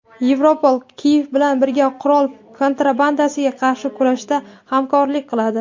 Yevropol Kiyev bilan birga qurol kontrabandasiga qarshi kurashda hamkorlik qiladi.